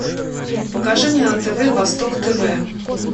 покажи мне на тв восток тв